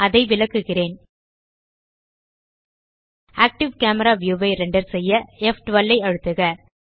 அதை விளக்குகிறேன் active camera view ஐ ரெண்டர் செய்ய ப்12 ஐ அழுத்துக